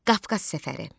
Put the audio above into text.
Qafqaz səfəri.